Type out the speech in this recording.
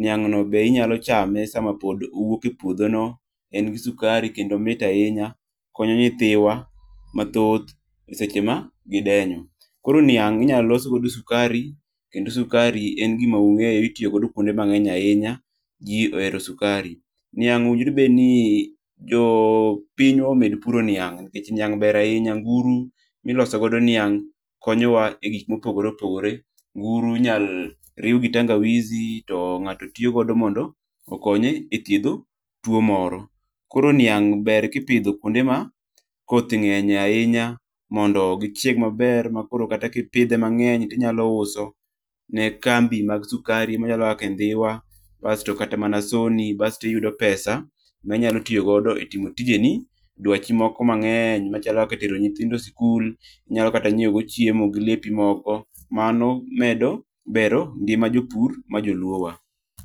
niang' no be inyalo chame sama pod owuok e puodho no. En gi sukari kendo omit ahinya. Okonyo nyithiwa mathoth e seche ma gidenyo. Koro niang' inyalo los godo sukari kendo sukari en gima ung'eyo itiyo godo kuonde mang'eny ahinya, ji ohero sukari. Niang' owinjore obedni jo pinywa omed puro niang', niang' ber ahinya, nguru miloso godo niang' konyo wa e gik mopogore. Nguru inyalo riw gi tangawizi to ng'ato tiyogo mondo okonye ethiedho tuo moro. Koro niang' ber kipidho kuonde ma koth ng'enyie ahinya mondo gichieg maber. Ma koro kata kipidhe mang'eny tinyalo kata use ne kambi mag sukari machalo kaka Ndhiwa, bas to kata mana Sony bas tiyudo pesa minyalo tiyo godo e timo tijeni. Dwachi moko mang'eny machalo kaka tero nyithindo sikul, inyalo kata nyiewo go chiemo gi lepi moko. Mano medo gero ngima jopur ma joluo wa.